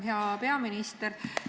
Hea peaminister!